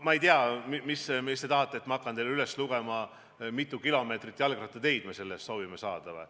Ma ei tea, kas te tahate, et ma hakkaksin teile üles lugema, mitu kilomeetrit jalgrattateid me saada soovime?